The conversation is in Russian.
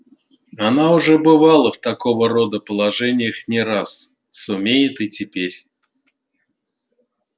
она уже бывала в такого рода положениях не раз сумеет и теперь